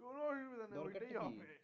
কোনো অসুবিধা নেই ওইটাই হবে। দরকারটা কি?